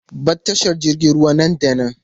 Bar tashar jiragen ruwa nan da nan!